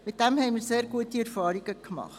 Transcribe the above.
Wir haben damit sehr gute Erfahrungen gemacht.